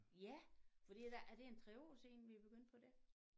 Ja fordi at der er det en 3 år siden vi er begyndt på det?